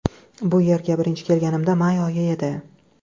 Bu yerga birinchi kelganimda may oyi edi.